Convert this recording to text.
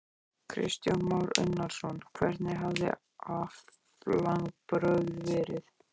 Kristján Már Unnarsson: Hvernig hafa aflabrögð verið?